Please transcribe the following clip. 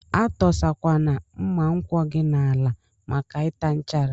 Atọsa kwana mma nkwọ gi n'ala maka ita nchara.